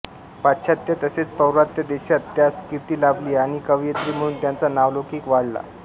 पाश्चात्त्य तसेच पौर्वात्य देशांत त्यांस कीर्ती लाभली आणि कवयित्री म्हणून त्यांचा नावलौकिक वाढला